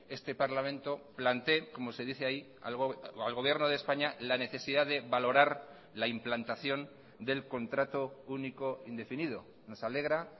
este parlamento plantee como se dice ahí al gobierno de españa la necesidad de valorar la implantación del contrato único indefinido nos alegra